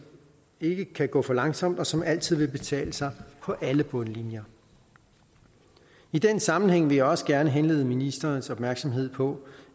ikke kan gå for langsomt og som altid vil betale sig på alle bundlinjer i den sammenhæng vil jeg også gerne henlede ministerens opmærksomhed på